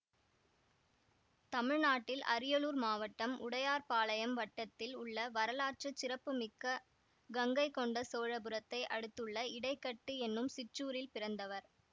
தமிழ்நாட்டில் அரியலூர் மாவட்டம் உடையார்பாளையம் வட்டத்தில் உள்ள வரலாற்று சிறப்புமிக்க கங்கைகொண்ட சோழபுரத்தை அடுத்துள்ள இடைக்கட்டு என்னும் சிற்றூரில் பிறந்தவர்